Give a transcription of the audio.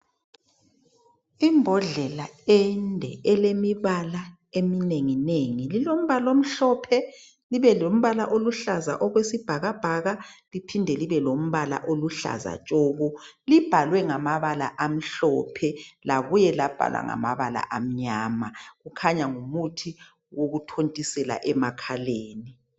Imbodlela ende elemibala eminenginengi, lilombala omhlophe libelombala oluhlaza okwesibhakabhaka, liphinde libelombala oluhlaza tshoko. Libhalwe ngamabala amhlophe labuye labhalwa ngamabala amnyama. Kukhanya ngumuthi wokutontisela emakhaleni.